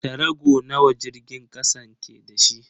Tarago nawa jirgin kasan ke da shi?